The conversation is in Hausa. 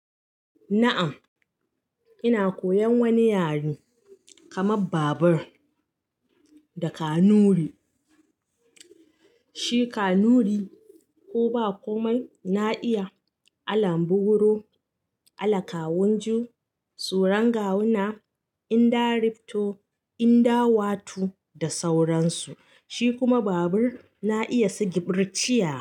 Na'am, ina koyan wani yare, kamar babur da Kanuri. Shi Kanuri ko ba komai na iya alan buguro, ala kawunju, suran gawuna, inda rifto, inda wato da sauransu. Shi kuma babur na iya sigiɓur ciya.